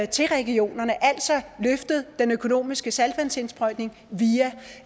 til regionerne altså løftet den økonomiske saltvandsindsprøjtning via